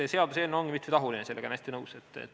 Eks see seaduseelnõu olegi mitmetahuline, sellega olen ma hästi nõus.